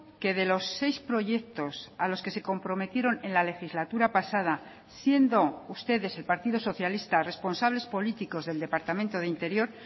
que de los seis proyectos a los que se comprometieron en la legislatura pasada siendo ustedes el partido socialista responsables políticos del departamento de interior